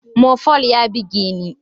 Mopol ya buge ni.